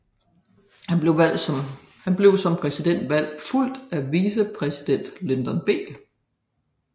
Han blev som præsident fulgt af vicepræsident Lyndon B